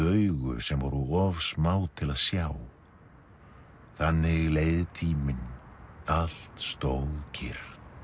augu sem voru of smá til að sjá þannig leið tíminn allt stóð kyrrt